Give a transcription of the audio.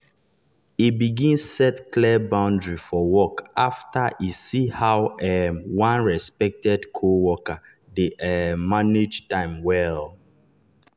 e begin set clear boundary for work after e see how um one respected coworker dey um manage time well.